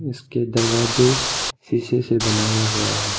इसके दरवाजे शीशे से बनाया हुआ है।